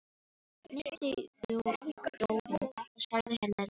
Hnippti í Dóru og sagði henni að líta við.